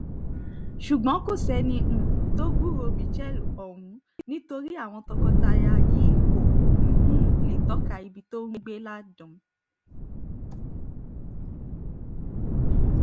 ṣùgbọ́n kò sẹ́ni um tó gbúròó michel ọ̀hún nítorí àwọn tọkọ-tìya yìí kò um lè tọ́ka ibi tó ń gbé láàdààn